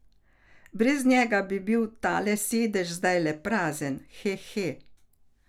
Brez njega bi bil tale sedež zdajle prazen, he he.